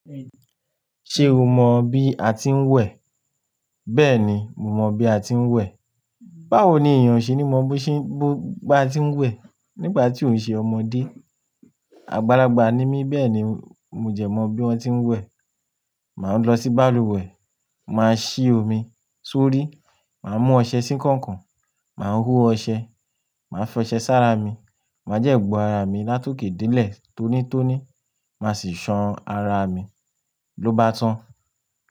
Ṣé o mọ bí a ti ń wẹ̀? Bẹ́ẹ̀ni, mo mọ bí a ti ń wẹ̀. Báwo ni èèyàn o ṣe ní mọ bí a ti ń wẹ̀ nígbà tí òun ṣe ọmọdé? Àgbàlagbà ni mí bẹ́ẹ̀ ni mo jẹ mọ bí wọ́n ti ń wẹ̀. Máa lọ sí balùwẹ̀, màá ṣí omi sórí, màá mú ọṣẹ sí kọ̀nkọ̀n, màá hó ọṣẹ, màá fọṣẹ sára mi, màá jẹ gbọ àrà mi látòké dé ilẹ̀ tonítoní, màá sì ṣan àrà mi ló bá tán.